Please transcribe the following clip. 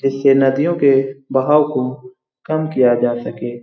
जिससे नदियों के बहाव को कम किया जा सके।